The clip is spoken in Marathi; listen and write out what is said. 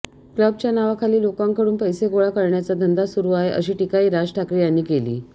क्लबच्या नावाखाली लोकांकडून पैसे गोळा करण्याचा धंदा सुरू आहे अशी टीकाही राज ठाकरे यांनी केली